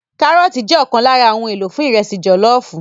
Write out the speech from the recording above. Kárọ́ọ̀tì jẹ́ ọ̀kan lára àwọn ohun èlò fún ìrẹsì jọ̀lọ́ọ̀fù